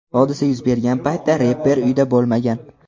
Hodisa yuz bergan paytda reper uyida bo‘lmagan.